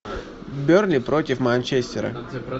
бернли против манчестера